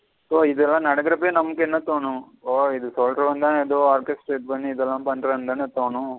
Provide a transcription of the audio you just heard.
So இதுல்லாம் நடக்குரபயே நம்மக்கு என்ன தோணும் ஒ இது சொல்லுரவந்தன இதுலாம் பண்றங்கனு தோணும்.